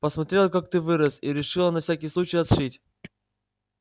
посмотрела как ты вырос и решила на всякий случай отшить